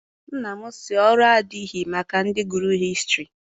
Nna m si na ọrụ adịghị maka ndị gụrụ hịstrị.